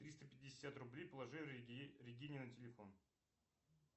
триста пятьдесят рублей положи регине на телефон